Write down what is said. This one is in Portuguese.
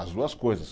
As duas coisas.